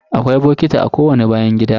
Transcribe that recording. Akwai bokiti a kowani bayan gida.